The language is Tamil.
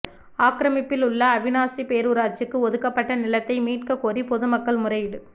ஆக்கிரமப்பில் உள்ள அவிநாசி பேரூராட்சிக்கு ஒதுக்கப்பட்ட நிலத்தை மீட்க கோரி பொதுமக்கள் முறையீடு